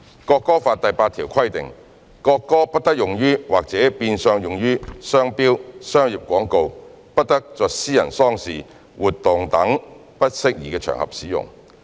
《國歌法》第八條規定，"國歌不得用於或者變相用於商標、商業廣告，不得在私人喪事活動等不適宜的場合使用......